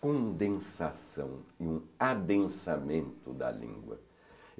condensação e um adensamento da língua.